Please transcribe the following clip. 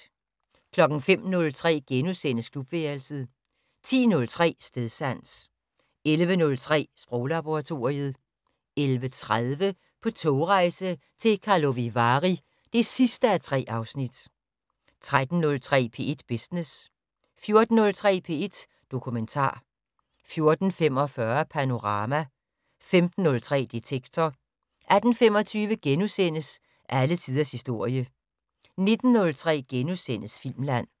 05:03: Klubværelset * 10:03: Stedsans 11:03: Sproglaboratoriet 11:30: På togrejse til Karlovy Vary (3:3) 13:03: P1 Business 14:03: P1 Dokumentar 14:45: Panorama 15:03: Detektor 18:25: Alle tiders historie * 19:03: Filmland *